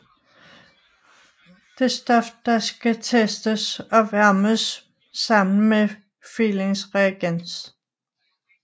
Det stof der skal testes opvarmes sammen med Fehlings reagens